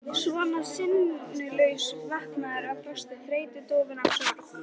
Svona sinnulaus, vankaður af frosti, þreytu, dofinn af sorg.